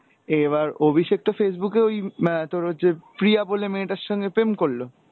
এবার অভিষেক তো Facebook এ ওই আহ তোর হচ্ছে প্রিয়া বলে মেয়েটার সঙ্গে প্রেম করলো,